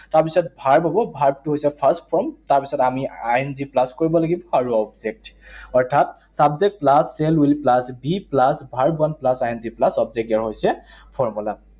তাৰপিছত verb হব, verb টো হৈছে first form, তাৰপিছত আমি I N G plus কৰিব লাগিব আৰু object, অৰ্থাৎ subject plus shall will plus be plus verb plus I N G plus object এই হৈছে formula